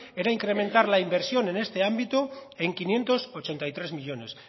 era incrementar la inversión en este ámbito en quinientos ochenta y tres millónes